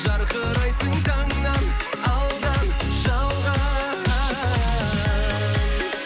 жарқырайсың таңнан алдан жалған